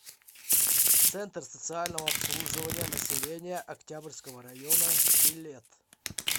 центр социального обслуживания населения октябрьского района билет